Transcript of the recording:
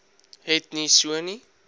het so nie